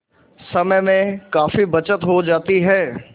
समय में काफी बचत हो जाती है